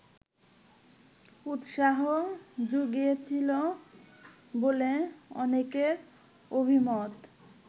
উৎসাহ জুগিয়েছিল বলে অনেকের অভিমত